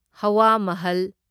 ꯍꯋꯥ ꯃꯍꯜ